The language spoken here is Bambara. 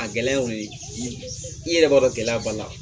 A gɛlɛya ye o ye i yɛrɛ b'a dɔn gɛlɛya b'a la